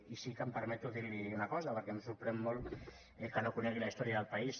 i sí que em permeto dir li una cosa perquè em sorprèn molt que no conegui la història del país